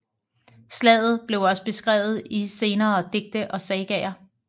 Slaget blev også beskrevet i senere digte og sagaer